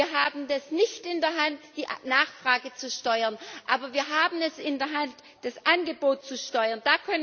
Wir haben es nicht in der Hand, die Nachfrage zu steuern, aber wir haben es in der Hand, das Angebot zu steuern.